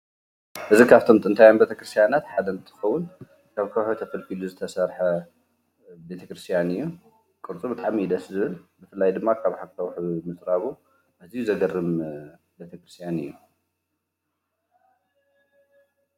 እዚ ኻብቶም ጥንታውያን ቤተ ክርስቲያናት ሓደ እትኸውን ካብ ከውሒ ተፈልፊሉ ዝተሰርሐ ቤተክርስቲያን እዩ። ቕርፁ ብጣዕሚ እዩ ደስ ዝብል ብፍላይ ድማ ኻብ ኣካውሕ ምጽራቡ ኣዝይ ዘገርም ቤተክርስቲያን እዩ።